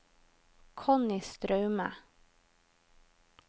Connie Straume